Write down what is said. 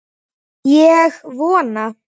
Og vona.